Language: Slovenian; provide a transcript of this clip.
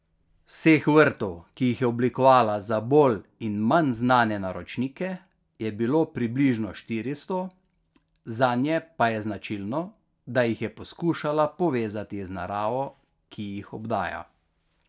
Vseh vrtov, ki jih je oblikovala za bolj in manj znane naročnike, je bilo približno štiristo, zanje pa je značilno, da jih je poskušala povezati z naravo, ki jih obdaja.